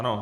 Ano.